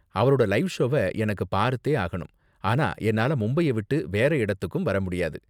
அவரோட லைவ் ஷோவ எனக்கு பார்த்தே ஆகணும், ஆனா என்னால மும்பைய விட்டு வேற இடத்துக்கும் வர முடியாது.